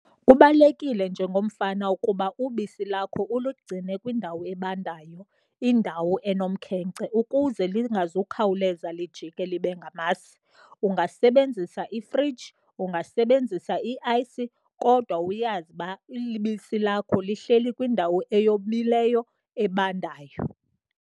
Kubalulekile njengomfama ukuba ubisi lakho ulugcine kwindawo ebandayo, indawo enomkhenkce ukuze lingazukhawuleza lijikile libe ngamasi. Ungasebenzisa ifriji, ungasebenzisa i-ice, kodwa uyazi uba ibisi lakho lihleli kwindawo eyomileyo, ebandayo.